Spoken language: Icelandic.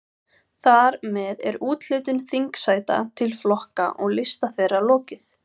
Þar með er úthlutun þingsæta til flokka og lista þeirra lokið.